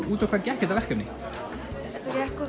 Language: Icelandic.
út á hvað gekk þetta verkefni þetta gekk